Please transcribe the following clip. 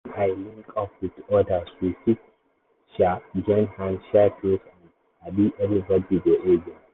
when i link up with others we fit um join hand share tools and um everybody go gain.